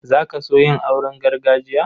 Za ka so yin auren gargajiya?